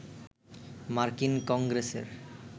মার্কিন কংগ্রেসের